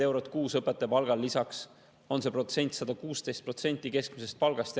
Siis on järgmisel aastal 116% keskmisest palgast.